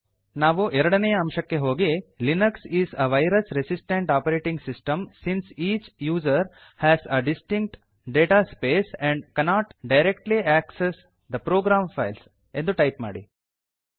ನಾವು ಎರಡನೇಯ ಅಂಶಕ್ಕೆ ಹೋಗಿ Linux is a virus resistant operating system since each user has a distinct data space and cannot directly access the program files ಎಂದು type ಮಾಡಿ